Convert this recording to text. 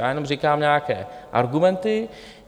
Já jenom říkám nějaké argumenty.